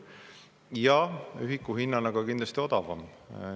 Ja ühiku hinnana on see ka kindlasti odavam.